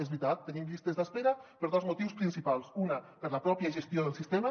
és veritat tenim llistes d’espera per dos motius principals un per la pròpia gestió del sistema